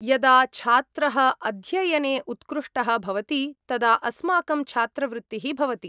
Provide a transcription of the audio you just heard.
यदा छात्रः अध्ययने उत्कृष्टः भवति तदा अस्माकं छात्रवृत्तिः भवति।